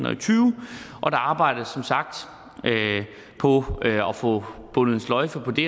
og tyve og der arbejdes som sagt på at få bundet en sløjfe på det